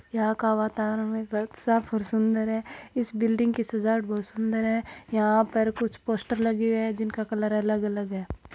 यहाँ का वातावरण में बहुत साफ़ और सुन्दर हैं इस बिल्डिंग की सजावट बहुत सुंदर है यहां पर कुछ पोस्टर लगे हुए है जिनका कलर अलग-अलग है।